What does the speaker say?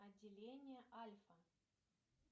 отделение альфа